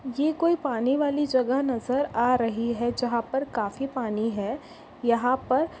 ये कोई पानी वाली जगह नज़र आ रही है जहा पर काफी पानी है यहा पर--